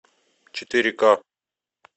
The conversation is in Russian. четыре ка